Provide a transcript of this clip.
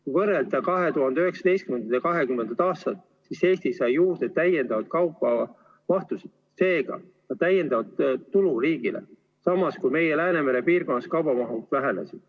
Kui võrrelda 2019. ja 2020. aastat, siis saab öelda, et Eesti sai juurde täiendavaid kaubamahtusid, seega täiendavat tulu riigile, samas meie Läänemere piirkonnas kaubamahud vähenesid.